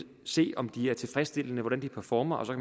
se om de er tilfredsstillende og hvordan de performer og så